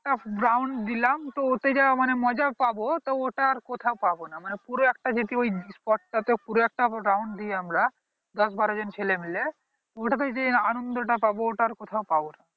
down দিলাম তো ওতেই যা মজা পাবো তা ওটা আর কোথাও পাবো না মানে পুরো একটা যেটি ওই spot টা তে পুরো একটা round দিয়ে আমরা দশ বড় জন ছেলে মিলে পুরো টা যে আনন্দ টা পাবো ওটা আর কোথাও পাবো না